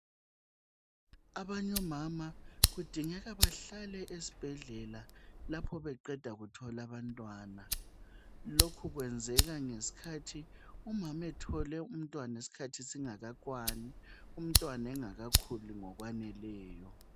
Abanye omama kudingeka bahlale esibhedlela lapho beqeda kuthola abantwana. Lokhu kwenzeka ngesikhathi umama ethole umntwana isikhathi singakakwani umntwana bengakakhuli ngokwaneleyo